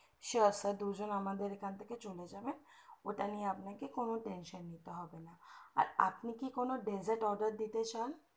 sure sir দুজন আমাদের এখান থেকে চলে যাবে ওটা নিয়ে আপনাকে কোনো tension নিতে হবে না আর আপনি কি কোনো dessert এর order দিতে চান